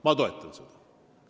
Ma toetan seda.